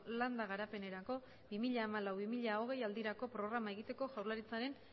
landa garapenerako bi mila hamalau bi mila hogei aldirako programa egiteko jaurlaritzaren